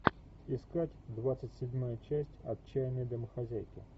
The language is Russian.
искать двадцать седьмая часть отчаянные домохозяйки